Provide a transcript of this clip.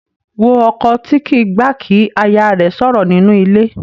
Wo ọkọ tí kì í gbà kí aya rẹ̀ sọ̀rọ̀ nínú ilé.